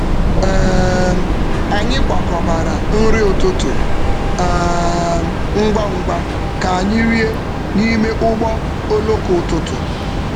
Anyị kwakọbara nri um ụtụtụ ngwa ngwa um ka anyị rie um n’ime ụgbọ oloko ụtụtụ.